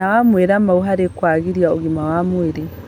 Na mawĩra mao harĩ kwagĩria ũgima wa mwĩrĩ